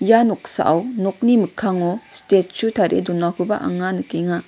ia noksao nokni mikkango stechu tarie donakoba anga nikenga.